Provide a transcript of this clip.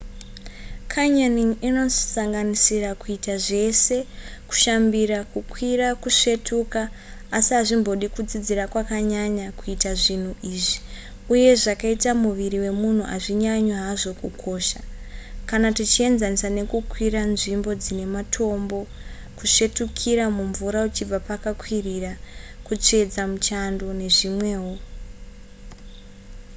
canyoning inosanganisira kuita zvese kushambira kukwira kusvetuka asi hazvimbodi kudzidzira kwakanyanya kuita zvinhu izvi uye zvakaita muviri wemunhu hazvinyanyi hazvo kukosha kana tichienzanisa nekukwira nzvimbo dzine matombo kusvetukira mumvura uchibva pakakwirira kutsvedza muchando nezvimwewo